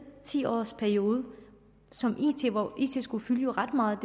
ti års periode skulle fylde ret meget